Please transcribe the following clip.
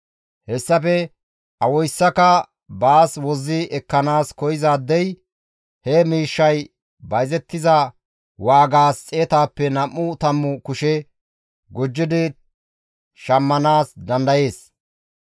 Hessafe awayssaka baas wozzi ekkanaas koyzaadey he miishshay bayzettiza waagaas xeetappe nam7u tammu kushe gujjidi shammanaas dandayees.